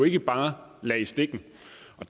ikke bare lade i stikken